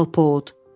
Alpod.